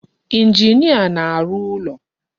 Injinia na-arụ ụlọ.